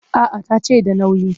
A'a ta ce da nauyi